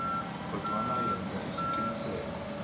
kodwana yenza isiqiniseko